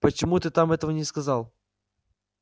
почему ты там этого не сказал